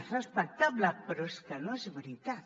és respectable però és que no és veritat